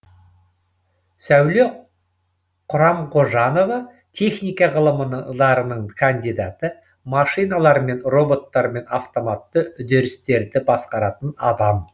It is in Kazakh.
сәуле құрамғожанова техника ғылымдарының кандидаты машиналармен роботтармен автоматты үдерістерді басқаратын адам